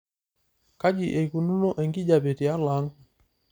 kaji eikununo enkijiape tialo ang'